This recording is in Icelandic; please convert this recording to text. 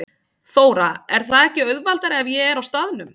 Þóra: Er það ekki auðveldara ef ég er á staðnum?